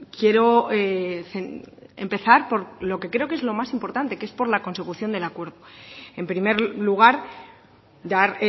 quiero empezar por lo que creo que es lo más importante que es por la consecución del acuerdo en primer lugar dar